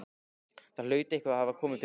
Það hlaut eitthvað að hafa komið fyrir.